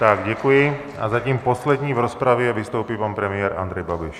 Tak děkuji a zatím poslední v rozpravě vystoupí pan premiér Andrej Babiš.